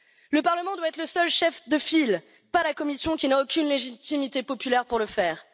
Le Parlement doit être le seul chef de file, pas la Commission, qui n'a aucune légitimité populaire pour le faire.